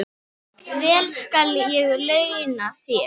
Vel skal ég launa þér.